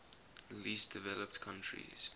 least developed countries